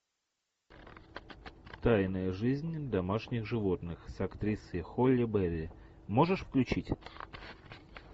тайная жизнь домашних животных с актрисой холли берри можешь включить